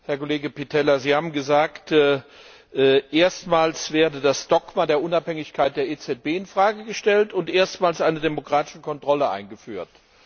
Herr Pitella, Sie haben gesagt, erstmals werde das Dogma der Unabhängigkeit der EZB in Frage gestellt und erstmals eine demokratische Kontrolle eingeführt.